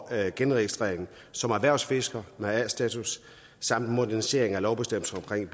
genregistrering som erhvervsfisker med a status samt en modernisering af lovbestemmelserne